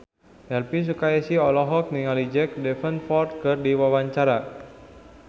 Elvi Sukaesih olohok ningali Jack Davenport keur diwawancara